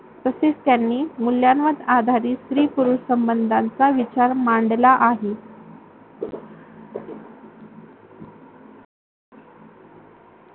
तसेच त्यांनी मूल्यावर आधारित स्त्री-पुरुष संबंधचा विचार मांडला आहे.